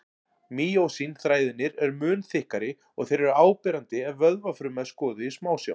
Mýósín-þræðirnir eru mun þykkari og þeir eru áberandi ef vöðvafruma er skoðuð í smásjá.